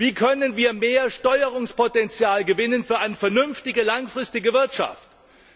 Wie können wir mehr Steuerungspotenzial für eine vernünftige langfristige Wirtschaft gewinnen?